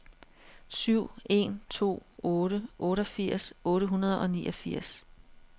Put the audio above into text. syv en to otte otteogfirs otte hundrede og niogfirs